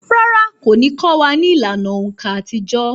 Rárá, kò ní kọ́ wa ní ìlànà òǹkà àtijọ́